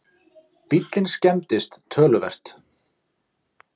Bíllinn skemmdist töluvert